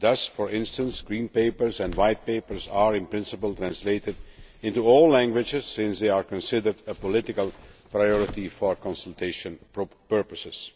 Thus, for instance, Green Papers and White Papers are, in principle, translated into all languages since they are considered a political priority for consultation purposes.